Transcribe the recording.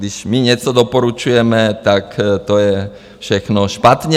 Když my něco doporučujeme, tak to je všechno špatně.